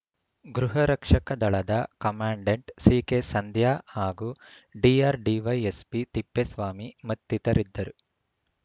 ಗೃಹ ರಕ್ಷಕ ದಳದ ಕಮಾಂಡೆಂಟ್‌ ಸಿಕೆಸಂಧ್ಯಾ ಹಾಗೂ ಡಿಆರ್‌ಡಿವೈಎಸ್ಪಿ ತಿಪ್ಪೇಸ್ವಾಮಿ ಮತ್ತಿತರರಿದ್ದರು